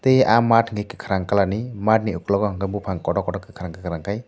e ah mad ni kakarang colour ni mad ni okologo hingukei bopang kotor kotor kakarang kakorang kei.